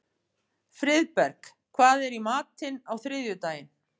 Friðberg, hvað er í matinn á þriðjudaginn?